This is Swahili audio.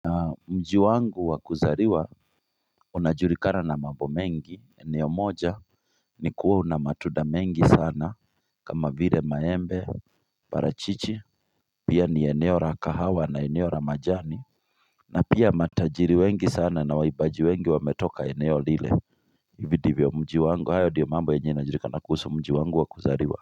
Mji wangu wakuzariwa unajurikana na mambo mengi, eneo moja ni kuwa una matunda mengi sana kama vire maembe, parachichi, pia ni eneo ra kahawa na eneo ra majani na pia matajiri wengi sana na waibaji wengi wametoka eneo lile hivi divyo mji wangu, hayo ndiyo mambo yenye inajurikana kuhusu mji wangu wakuzariwa.